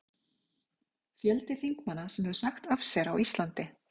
Fjöldi þingmanna sem hefur sagt af sér á Íslandi:?